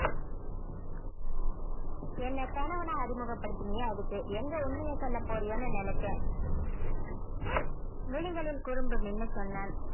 என்னை கணவனா அறிமுகப்படுத்தினியே அதுக்கு எங்க உண்மைய சொல்ல போறியோன்னு நினைச்சேன் விழிகளில் குறும்பு மின்ன சொன்னான்